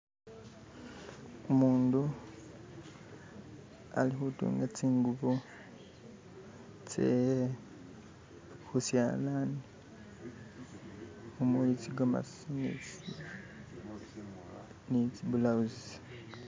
Umundu alikhutunga tsingubo tsehe khushalani khumuwe tsigomasi ni tsi ni tsibulawuzi